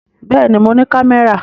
Bẹ́ẹ̀ ni, mo ní kámẹ́rà.